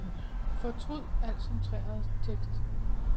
Fortryd al centreret tekst.